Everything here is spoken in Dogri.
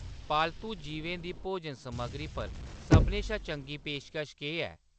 पालतू जीवें दी भोजन- समग्गरी पर सभनें शा चंगी पेशकश केह् ऐ ?